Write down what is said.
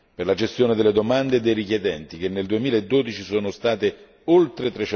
per la gestione delle domande e dei richiedenti, che nel 2012 sono state oltre